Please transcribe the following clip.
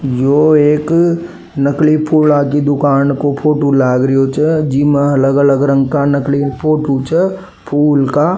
यो एक नकली फूला की दूकान का फोटो लाग रियो छे जीमें अलग अलग रंग का नकली फोटो छ फूल का।